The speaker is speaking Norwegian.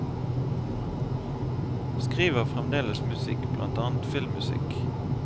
Skriver fremdeles musikk, blant annet filmmusikk.